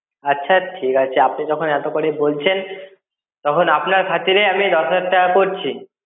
আছে ঠিক আছে, আপনি যখন এতো করেই বলছেন, তখন আপনার খাতিরে আমি দশ হাজার টাকা করছি।